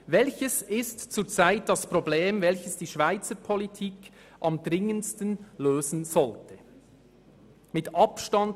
«Welches ist zurzeit das Problem, welches die Schweizer Politik am dringendsten lösen sollte?